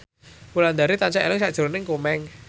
Wulandari tansah eling sakjroning Komeng